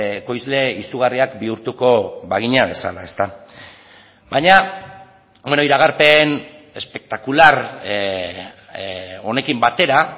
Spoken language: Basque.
ekoizle izugarriak bihurtuko bagina bezala baina iragarpen espektakular honekin batera